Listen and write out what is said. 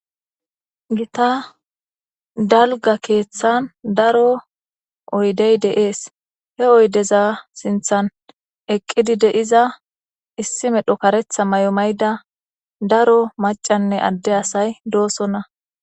Gita dalga keeththan daro oydey deees he oydeza sinthan eqqidi de7iza issi medho karetha mayo mayda daro macanne adde asay doosonna.